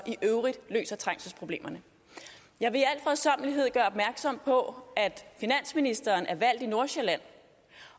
i øvrigt løser trængselsproblemerne jeg vil i al fredsommelighed gøre opmærksom på at finansministeren er valgt i nordsjælland